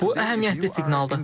Bu əhəmiyyətli siqnaldır.